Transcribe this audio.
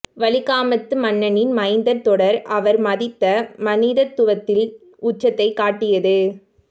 வலிகாமத்து மண்ணின் மைந்தர் தொடர் அவர் மதித்த மனிதத்துவத்தின் உச்சத்தைக் காட்டியது